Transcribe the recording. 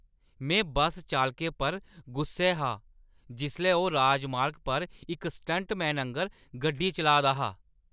में बस चालकै पर गुस्सै हा जिसलै ओह् राजमार्ग पर इक स्टंटमैन आंह्‌गर गड्डी चलाऽ दा हा।